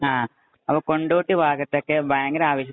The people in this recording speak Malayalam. ആ, അപ്പൊ കൊണ്ടോട്ടി ഭാഗത്തൊക്കെ ഭയങ്കര ആവേശത്തിലാണ്.